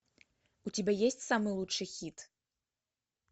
у тебя есть самый лучший хит